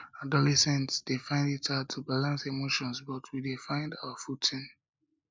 adolescents dey find it hard to balance emotions but we dey find our footing